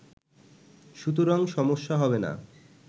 সুতরাং সমস্যা হবেনা